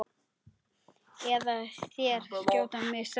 Eða þeir skjóta mig strax.